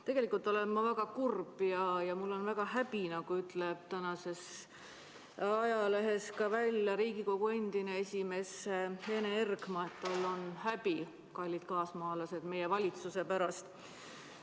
Tegelikult olen ma väga kurb ja mul on väga häbi, nagu ütleb tänases ajalehes ka Riigikogu endine esimees Ene Ergma, et tal on häbi, kallid kaasmaalased, meie valitsuse pärast.